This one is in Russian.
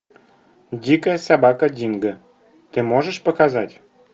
дикая собака динго ты можешь показать